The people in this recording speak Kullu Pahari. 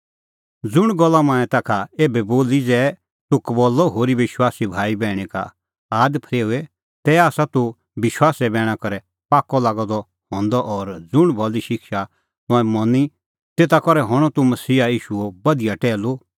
ज़ुंण गल्ला मंऐं ताखा एभै बोली ज़ै तूह कबल्लअ होरी विश्वासी भाईबैहणी का आद फरेओए तै आसा तूह विश्वासे बैणा करै पाक्कअ लागअ द हंदअ और ज़ुंण भली शिक्षा तंऐं मनी तेता करै हणअ तूह मसीहा ईशूओ बधिया टैहलू